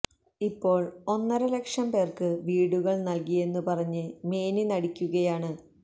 ഇപ്പോള് ഒന്നര ലക്ഷം പേര്ക്ക് വീടുകള് നല്കിയെന്ന് പറഞ്ഞ് മേനി നടിക്കുകയാണ്